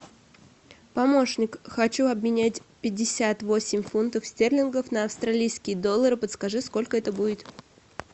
помощник хочу обменять пятьдесят восемь фунтов стерлингов на австралийский доллар подскажи сколько это будет